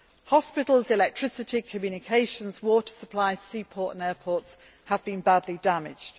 Hospitals, electricity, communications, water supply, seaports and airports have been badly damaged.